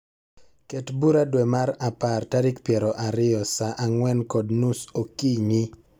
Ket bura dwe mar apar tarik piero ariyo saa ang'wen kod nus okinyi.